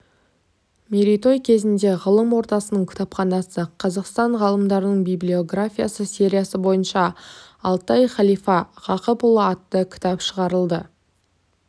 мерейтой кезінде ғылым ордасының кітапханасы қазақстан ғалымдарының библиографиясы сериясы бойынша алтай халифа ғақыпұлы атты кітап шығарылады